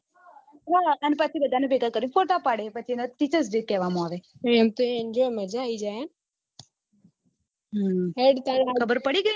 બધા ને ભેગા કરી ફોટા પાડી પછી એને teacher day કેવા માં આવે એમ તો મજા આવી જાય હેડ કઈ ના ખબર પડી